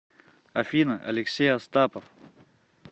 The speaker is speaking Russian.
афина алексей астапов